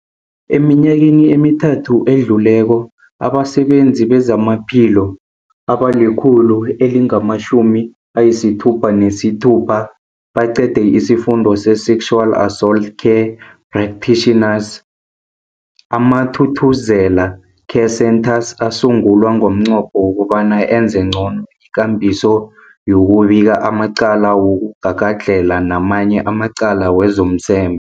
Eminyakeni emithathu edluleko, abasebenzi bezamaphilo abali-100 elingama-66 baqede isiFundo se-Sexual Assault Care Practitioners. AmaThuthuzela Care Centres asungulwa ngomnqopho wokobana enze ncono ikambiso yokubika amacala wokugagadlhela namanye amacala wezomseme.